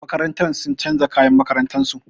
Makarantar sun canza kayan makarantar su.